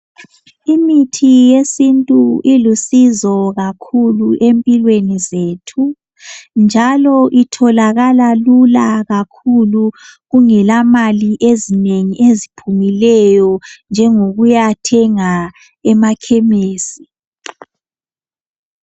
Imithi yesintu ilusizo kakhulu empilweni zethu njalo itholakala lula kakhulu kungela mali ezinengi eziphumileyo njengokuyathenga emakhemisi.